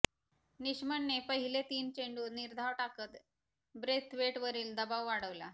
निशमने पहिले तीन चेंडू निर्धाव टाकत ब्रेथवेटवरील दबाव वाढवला